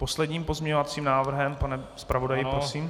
Poslední pozměňovací návrhe, pane zpravodaji, prosím.